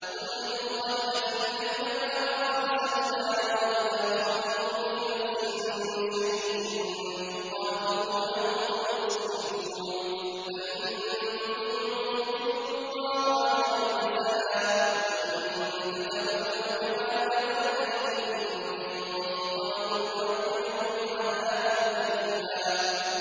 قُل لِّلْمُخَلَّفِينَ مِنَ الْأَعْرَابِ سَتُدْعَوْنَ إِلَىٰ قَوْمٍ أُولِي بَأْسٍ شَدِيدٍ تُقَاتِلُونَهُمْ أَوْ يُسْلِمُونَ ۖ فَإِن تُطِيعُوا يُؤْتِكُمُ اللَّهُ أَجْرًا حَسَنًا ۖ وَإِن تَتَوَلَّوْا كَمَا تَوَلَّيْتُم مِّن قَبْلُ يُعَذِّبْكُمْ عَذَابًا أَلِيمًا